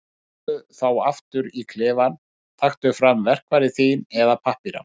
Snúðu þá aftur í klefann, taktu fram verkfæri þín eða pappíra.